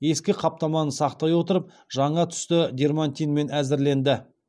ескі қаптаманы сақтай отырып жаңа түсті дерматинмен әзірленді